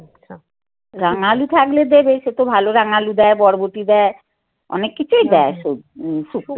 রাঙা আলু থাকলে দেবে সে তো ভালো রাঙালু দেয় বরবটি দেয়. অনেক কিছুই দেয় শুক্ত তে